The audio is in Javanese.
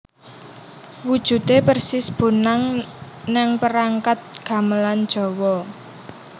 Wujude persis bonang nang perangkat gamelan Jawa